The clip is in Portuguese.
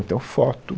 Então foto.